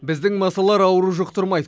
біздің масалар ауру жұқтырмайды